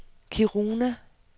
Kiruna